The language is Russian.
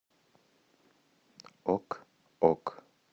ок ок